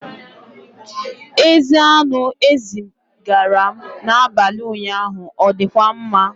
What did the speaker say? Ezi anụ ezi m zigara n'abalị ụnyaahụ ọ dịkwa mma?